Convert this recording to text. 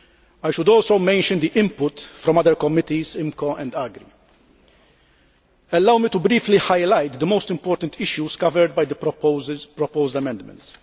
I should also mention the input from other committees, IMCO and AGRI. Allow me to briefly highlight the most important issues covered by the proposed amendments.